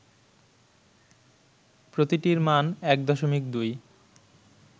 প্রতিটির মান ১.২